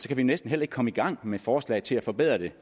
vi næsten ikke komme i gang med forslag til at forbedre det